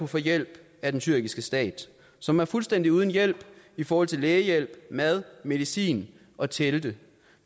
få hjælp af den tyrkiske stat som er fuldstændig uden hjælp i forhold til lægehjælp mad medicin og telte